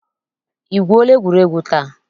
I gwuola egwuregwu taa?